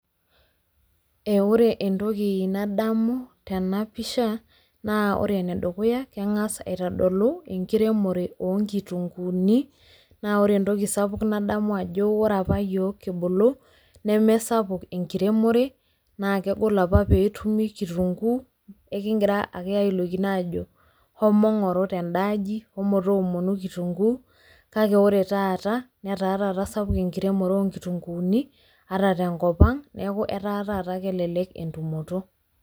Ore entoki nadamu tenapisha, na ore enedukuya keng'as aitodolu enkiremore onkitunkuuni, na ore entoki sapuk nadamu ajo ore apa yiok kibulu, nemesapuk enkiremore, na kegol apa petumi kitunkuu, enkigira ake ailokino ajo homo ng'oru tendaaji, homo toomonu kitunkuu, kake ore taata, netaa taata sapuk enkiremore onkitunkuuni, ata tenkop ang, neeku etaa taata kelelek entumoto.